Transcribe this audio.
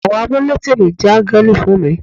Àwọn amuletìmí jẹ́ áńgẹ́lì fún mi.